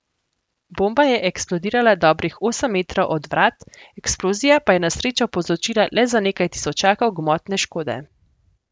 Bomba je eksplodirala dobrih osem metrov od vrat, eksplozija pa je na srečo povzročila le za nekaj tisočakov gmotne škode.